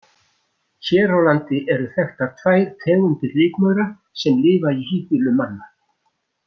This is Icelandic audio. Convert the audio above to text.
Hér á landi eru þekktar tvær tegundir rykmaura sem lifa í híbýlum manna.